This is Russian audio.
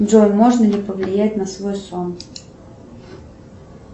джой можно ли повлиять на свой сон